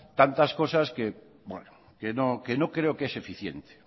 tantas cosas que no creo que es eficiente